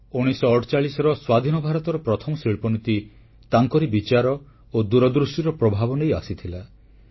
1948 ରେ ସ୍ୱାଧୀନ ଭାରତର ପ୍ରଥମ ଶିଳ୍ପନୀତି ତାଙ୍କରି ବିଚାର ଓ ଦୂରଦୃଷ୍ଟିର ପ୍ରଭାବ ନେଇ ଆସିଥିଲା